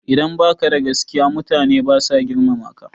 Idan baka da gaskiya mutane basa girmama ka